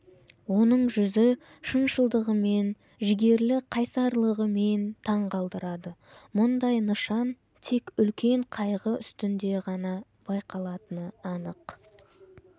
оның жүзі шыншылдығымен жігерлі қайсарлығымен таң қалдырады мұндай нышан тек үлкен қайғы үстінде ғана байқалатыны анық